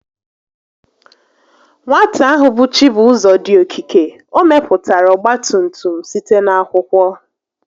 Nwata ahụ bụ Chibuzọ dị okike, o mepụtara ọgbatumtum site n'akwụkwọ